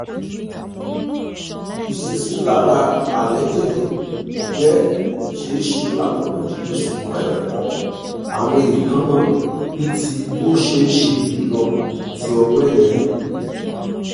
iṣesilara jẹ ṣeeṣe latọna jijin ṣugbọn ẹfọawọn eekannani ti o ṣeeṣe julọ ti ọgbẹ yẹn